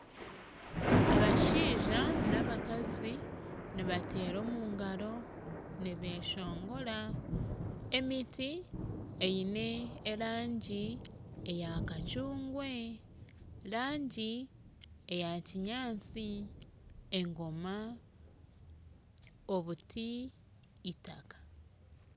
Abashaija nabakazi nibateera omu ngaro nibeshongora emiti eine erangi eyakacungwa erangi eya kinyatsi engoma obuti itaka